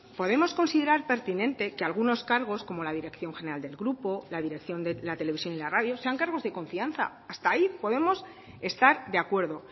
podemos considerar pertinente que algunos cargos como la dirección general del grupo la dirección de la televisión y la radio sean cargos de confianza hasta ahí podemos estar de acuerdo